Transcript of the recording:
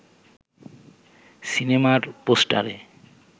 সিনেমার পোস্টারে